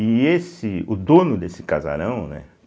E esse, o dono desse casarão, né?